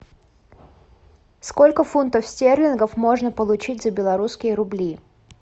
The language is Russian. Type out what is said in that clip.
сколько фунтов стерлингов можно получить за белорусские рубли